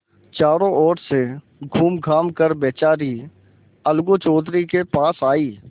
चारों ओर से घूमघाम कर बेचारी अलगू चौधरी के पास आयी